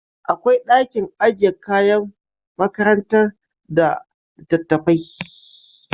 Akwai dakin ajiyar kayan makarantar da litattafai